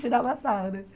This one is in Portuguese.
Tirava sarro, né?